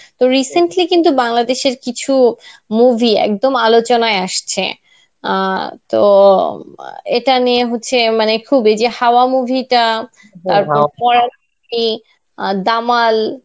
তো recently কিন্তু বাংলাদেশের কিছু movie একদম আলোচনায় আসছে. আ তো এটা নিয়ে হচ্ছে মানে খুব এই যে হাওয়া movie টা তারপর আ দামাল.